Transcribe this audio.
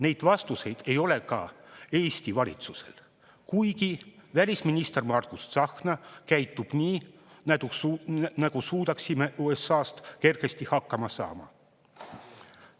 Neid vastuseid ei ole ka Eesti valitsusel, kuigi välisminister Margus Tsahkna käitub nii, nagu suudaksime USA‑ta kergesti hakkama saada.